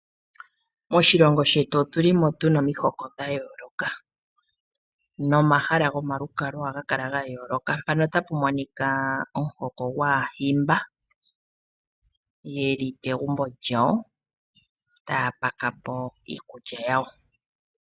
Moshilongo shetu otulimo tuna omihoko dha yooloka nomahala gomalukalo ohaga kala ga yooloka. Mpano otapu monika omuhoko gwaahimba yeli kegumbo lyawo taya pakapo iikulya yawo.